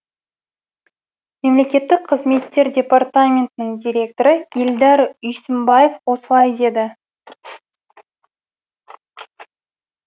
мемлекеттік қызметтер департаментінің директоры ильдар үйсімбаев осылай деді